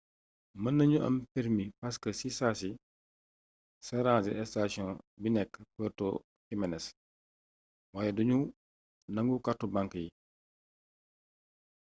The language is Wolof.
mën nañu am permi park si saasi ca ranger sation bi nek puerto jiménes waaye du ñu nangu kàrtu bank yi